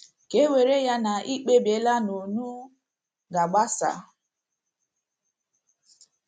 Ka e were ya na i kpebiela na unu ga - agbasa.